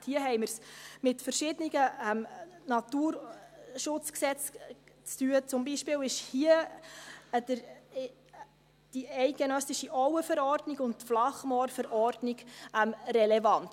Hier haben wir es mit verschiedenen Naturschutzgesetzen zu tun, zum Beispiel sind hier die eidgenössische Verordnung über den Schutz der Auengebiete von nationaler Bedeutung (Auenverordnung) und die Verordnung über den Schutz der Flachmoore von nationaler Bedeutung (Flachmoorverordnung) relevant.